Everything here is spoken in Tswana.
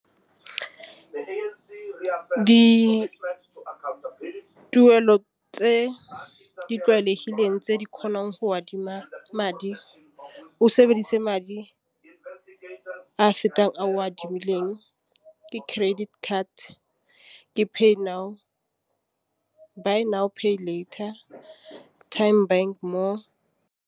Dituelo tse di tlwaelegileng tse di kgonang go adima madi o sebedisa madi I se ka o a adimileng ke credit card gape dinao binary peel writer time bank .